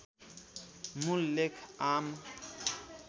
मूल लेख आम